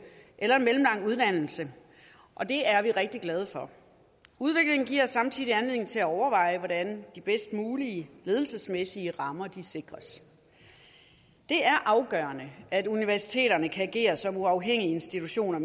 eller mellemlang uddannelse og det er vi rigtig glade for udviklingen giver samtidig anledning til at overveje hvordan de bedst mulige ledelsesmæssige rammer sikres det er afgørende at universiteterne kan agere som politisk uafhængige institutioner